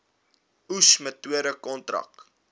oes metode kontrak